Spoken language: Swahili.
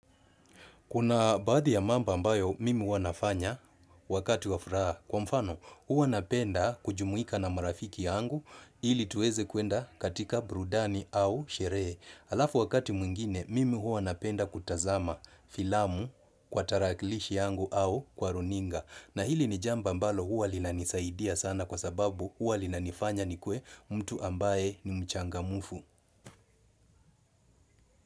Kuna baadhi ya mambo ambayo mimi huwa nafanya wakati wa furaha kwa mfano huwa napenda kujumuika na marafiki yangu ili tuweze kuenda katika burudani au sherehe. Alafu wakati mwingine mimi huwa napenda kutazama filamu kwa tarakilishi yangu au kwa runinga. Na hili ni jambo ambalo huwa lina nisaidia sana kwa sababu huwa lina nifanya nikuwe mtu ambaye ni mchangamufu.